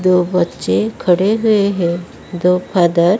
दो बच्चे खड़े हुए हैं दो फादर --